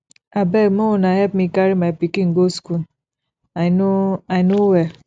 abeg make una help me carry my pikin go school i no i no well